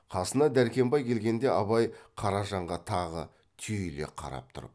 қасына дәркембай келгенде абай қаражанға тағы түйіле қарап тұрып